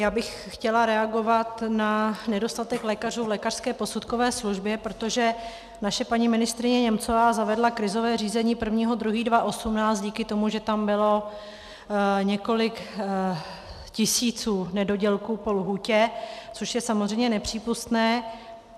Já bych chtěla reagovat na nedostatek lékařů v lékařské posudkové službě, protože naše paní ministryně Němcová zavedla krizové řízení 1. 2. 2018 díky tomu, že tam bylo několik tisíc nedodělků po lhůtě, což je samozřejmě nepřípustné.